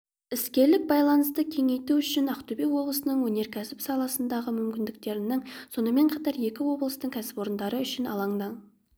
іскерлік байланысты кеңейту үшін ақтөбе облысының өнеркәсіп саласындағы мүмкіндіктерінің сонымен қатар екі облыстың кәсіпорындары үшін алаңның